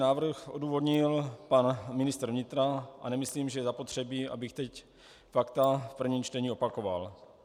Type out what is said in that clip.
Návrh odůvodnil pan ministr vnitra a nemyslím, že je zapotřebí, abych teď fakta v prvním čtení opakoval.